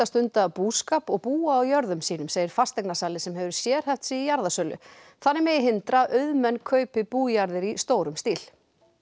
stunda búskap og búa á jörðum sínum segir fasteignasali sem hefur sérhæft sig í jarðasölu þannig megi hindra að auðmenn kaupi bújarðir í stórum stíl